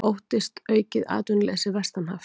Óttast aukið atvinnuleysi vestanhafs